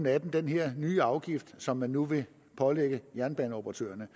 at den her nye afgift som man nu vil pålægge jernbaneoperatørerne